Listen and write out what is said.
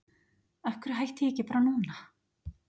Af hverju hætti ég ekki bara núna?